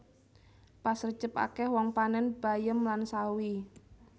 Pas rejeb akeh wong panen bayem lan sawi